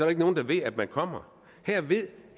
er nogen der ved at man kommer her ved